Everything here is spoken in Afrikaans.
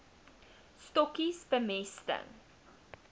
stokkies bemesting